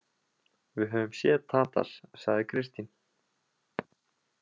Við höfum séð Tadas, sagði Kristín.